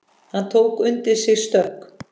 Hann tók undir sig stökk.